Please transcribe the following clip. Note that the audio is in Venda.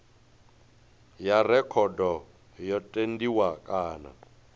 ya rekhodo yo tendiwa kana